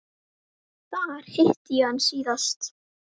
Þar hitti ég hann síðast.